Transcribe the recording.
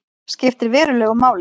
Skiptir verulegu máli